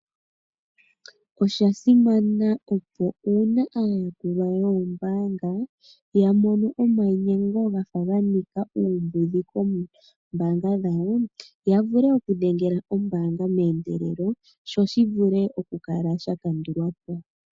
Osha simana uuna aayakulwa yoombaanga ya mono omainyengo gafa ga nika uumbudhi koombanga dhawo, ya vule okudhengela ombaanga meendelelo sho shi vule okukala sha kandulwa po.